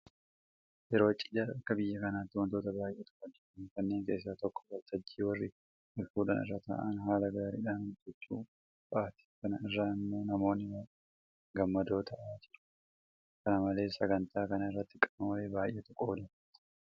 Yeroo cidhaa akka biyya kanaatti waantota baay'eetu hojjetama. Kanneen keessaa tokko waltajjii warri walfuudhan irra taa'an haala gaariidhaan hojjechuu fa'aati. Kana irraa immoo namoonni baay'een gammadoo ta'aa jiru. Kana malees sagantaa kana irratti qaamolee baay'eetu qooda fudhata.